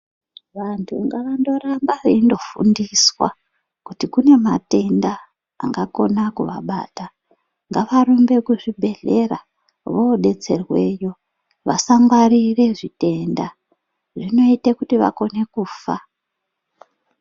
Vantu ngavandoramba veindofundiswa kuti kune matenda angakona kuvabata ngavarumbe kuzvibhedhleya vodetserweyo vasangwarira zvitenda zvinoite kuti vakone kufa.